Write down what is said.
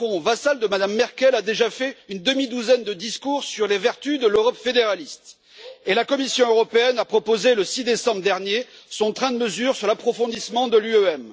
Macron, vassal de Mme Merkel, a déjà fait une demi douzaine de discours sur les vertus de l'Europe fédéraliste et la Commission européenne a proposé, le 6 décembre dernier, son train de mesures sur l'approfondissement de l'UEM.